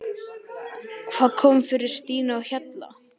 Hvað kom fyrir Stínu á Hjalla?